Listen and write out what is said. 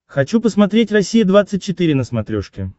хочу посмотреть россия двадцать четыре на смотрешке